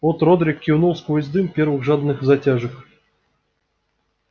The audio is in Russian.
от родрик кивнул сквозь дым первых жадных затяжек